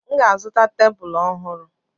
M ga-azụta tebụl ọhụrụ.